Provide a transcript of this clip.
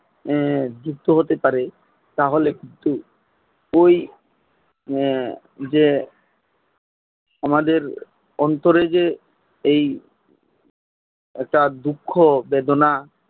যুক্ত হতে পারে তা হলে কিন্তু ওই যে আমাদের অন্তরে যে এই একটা দুঃখ বেদনা